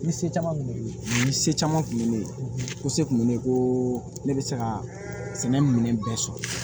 Ni se caman kun bɛ ne bolo ni se caman kun ye ne ye ko se kun bɛ ne ko ne bɛ se ka sɛnɛ minɛn bɛɛ sɔrɔ